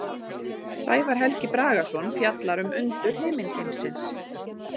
Sævar Helgi Bragason fjallar um undur himingeimsins.